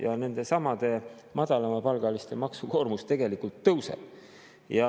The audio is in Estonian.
Ja nendesamade madalamapalgaliste maksukoormus tegelikult tõuseb.